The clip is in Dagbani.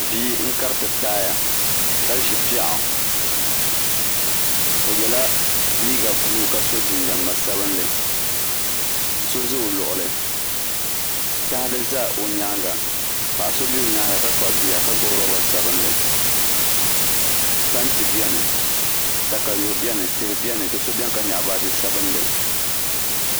bia n-kariti taaya ka ʒi piɛɣu o yela liiga buluu ka so jinjɛm ŋma'sabinlli so za o luɣili tahali za o nyaanga paɣ'so be o nyaanga ka kpabi bia ka gbubi luba sabinlli tanti beni takayuhi beni tihi beni do'so beni ka nyaɣi baaji sabinlli